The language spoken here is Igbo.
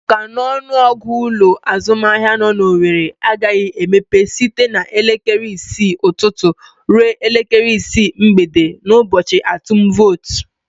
Ọ ka n'ọnụ ọgụ ụlọ azụmahịa nọ n'Owere agaghị emepe site elekere isii ụtụtụ ruo elekere isii mgbede n'ụbọchị atum votu.